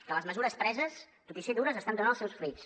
que les mesures preses tot i ser dures estan donant els seus fruits